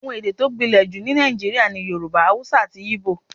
Àwọn èdè tó gbìnlè jù ní Nàìjíríà ni Yorùbá, Haúsá àti Igbo.